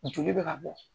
Joli bɛ ka bɔ